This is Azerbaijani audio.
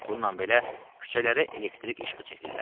Bununla belə küçələrə elektrik işığı çəkdilər.